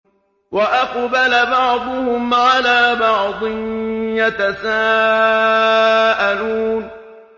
وَأَقْبَلَ بَعْضُهُمْ عَلَىٰ بَعْضٍ يَتَسَاءَلُونَ